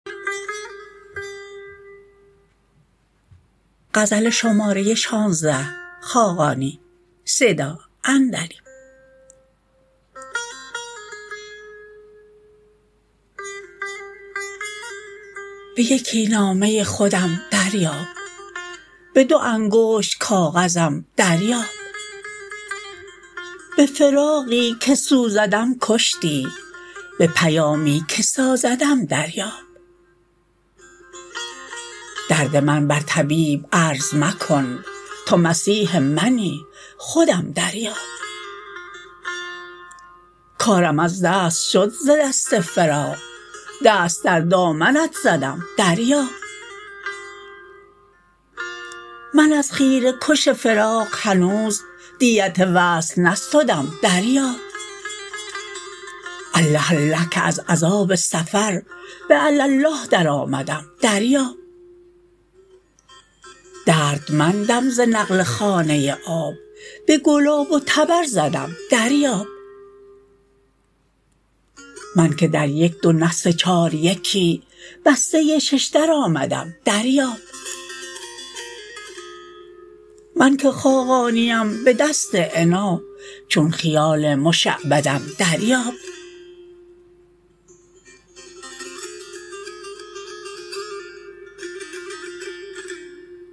به یکی نامه خودم دریاب به دو انگشت کاغذم دریاب به فراقی که سوزدم کشتی به پیامی که سازدم دریاب درد من بر طبیب عرض مکن تو مسیح منی خودم دریاب کارم از دست شد ز دست فراق دست در دامنت زدم دریاب من از خیره کش فراق هنوز دیت وصل نستدم دریاب الله الله که از عذاب سفر به علی الله درآمدم دریاب دردمندم ز نقل خانه آب به گلاب و طبرزدم دریاب من که در یک دو نه سه چار یکی بسته ششدر آمدم دریاب من که خاقانیم به دست عنا چون خیال مشعبدم دریاب